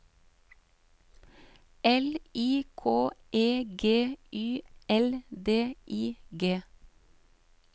L I K E G Y L D I G